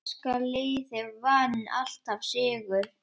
Breska liðið vann alltaf sigur.